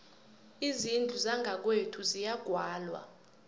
izindlu zangakwethu ziyagwalwa